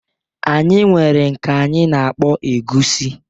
Anyị nwere nke anyị -na-akpọ egusi.